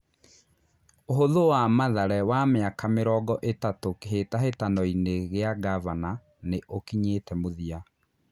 ũhũthũ wa Mathare wa mĩ aka mĩ rongo ĩ tatũ Kĩ hĩ tahĩ tanoinĩ gĩ a ngavana nĩ ũkinyĩ te mũthia.